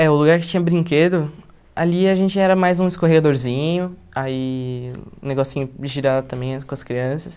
É, o lugar que tinha brinquedo, ali a gente era mais um escorregadorzinho, aí um negocinho de girar também com as crianças.